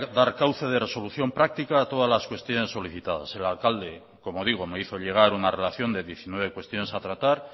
dar cauce de resolución práctica a todas las cuestiones solicitadas el alcalde como digo me hizo llegar una relación de diecinueve cuestiones a tratar